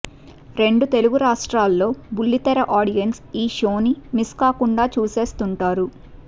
రెండు తెలుగు రాష్ట్రాల్లో బుల్లితెర ఆడియన్స్ ఈ షోని మిస్ కాకుండా చూసేస్తుంటారు